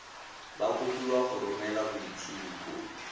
ba kopiwa go romela boitshupo